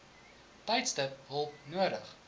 tydstip hulp nodig